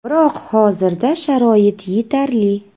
Biroq hozirda sharoit yetarli.